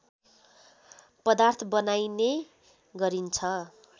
पदार्थ बनाइने गरिन्छ